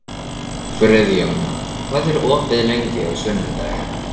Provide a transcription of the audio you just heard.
Friðjóna, hvað er opið lengi á sunnudaginn?